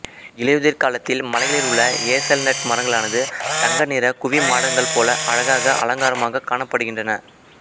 இலையுதிர் காலத்தில் மலைகளில் உள்ள ஹேசல்நட் மரங்களானது தங்க நிற குவிமாடங்கள் போல அழகாக அலங்கரமாக காணப்படுகின்றன